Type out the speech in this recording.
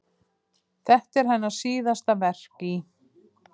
Þetta er hennar síðasta verk í